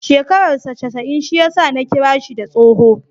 Shekarar saa casa'in shi ya sa Ni kira shi da tsoho.